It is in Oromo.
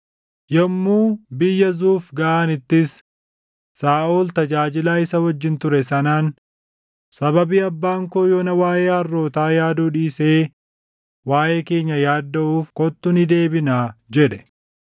Yommuu biyya Zuufi gaʼanittis Saaʼol tajaajilaa isa wajjin ture sanaan, “Sababii abbaan koo yoona waaʼee harrootaa yaaduu dhiisee waaʼee keenya yaaddaʼuuf kottu ni deebinaa!” jedhe.